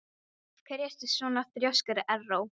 Af hverju ertu svona þrjóskur, Erró?